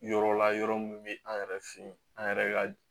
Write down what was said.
Yɔrɔ la yɔrɔ min bɛ an yɛrɛ fɛ yen an yɛrɛ ka